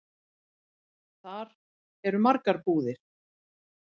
Þar eru margar búðir.